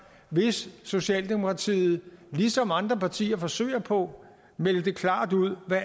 hvis socialdemokratiet ligesom andre partier forsøger på meldte klart ud hvad